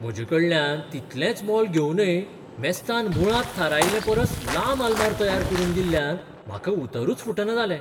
म्हजेकडल्यान तितलेंच मोल घेवनय मेस्तान मुळांत थारायिल्ले परस लांब आलमार तयार करून दिल्ल्यान म्हाका उतरच फुटना जालें.